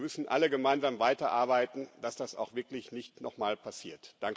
Wir müssen alle gemeinsam weiterarbeiten, dass das auch wirklich nicht noch mal passiert.